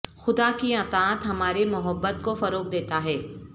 خدا کی اطاعت ہماری محبت کو فروغ دیتا ہے